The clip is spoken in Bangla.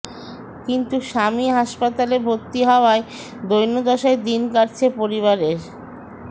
কিন্তু স্বামী হাসপাতালে ভর্তি হওয়ায় দৈনদশায় দিন কাটছে পরিবারের